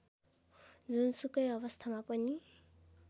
जुनसुकै अवस्थामा पनि